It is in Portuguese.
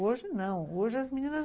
Hoje não, hoje as meninas